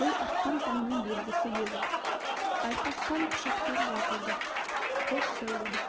бұл атқан таңның белгісі еді айқасқан құшақтар жазылды қош сәулем